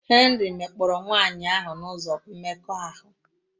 Henry mekpọrọ nwanyị ahụ n'ụzọ mmekọahụ.